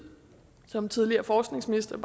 som tidligere forskningsminister